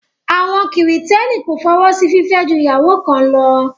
Àwọn kìrìtẹ́nì kò fọwọ́ sí fìfẹ́ ju ìyàwó kan lọ